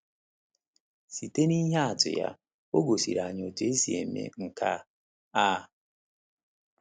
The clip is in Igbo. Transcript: Site n’ihe atụ ya, o gosiri anyị otú e si eme nke a. a.